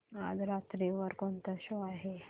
आज रात्री वर कोणता शो आहे